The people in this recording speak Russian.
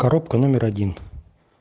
коробка номер один